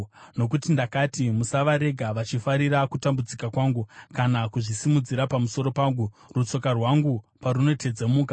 Nokuti ndakati, “Musavarega vachifarira kutambudzika kwangu kana kuzvisimudzira pamusoro pangu, rutsoka rwangu parunotedzemuka.”